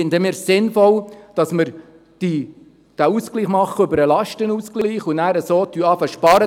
Deshalb halten wir es für sinnvoll, diesen Ausgleich über den Lastenausgleich vorzunehmen, um so mit Sparen zu beginnen.